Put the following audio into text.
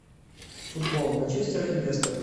футбол манчестера и лестера